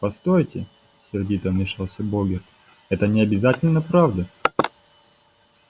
постойте сердито вмешался богерт это не обязательно правда